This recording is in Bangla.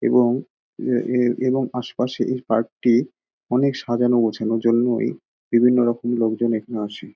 এবং এ এ এবং আশেপাশে এই পার্কটি অনেক সাজানো গোছানোর জন্যই বিভিন্ন রকমের লোকজন এখানে আসে।